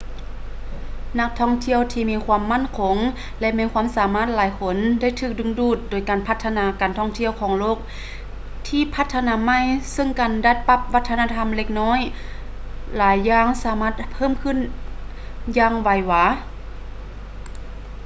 ນັກທ່ອງທ່ຽວທີ່ມີຄວາມໝັ້ນຄົງ ແລະ ມີຄວາມສາມາດຫຼາຍຄົນໄດ້ຖືກດຶງດູດໂດຍການພັດທະນາການທ່ອງທ່ຽວຂອງໂລກທີ່ພັດທະນາໃໝ່ເຊິ່ງການດັດປັບວັດທະນະທຳເລັກນ້ອຍຫຼາຍຢ່າງສາມາດເພີ່ມຂື້ນຢ່າງໄວວາ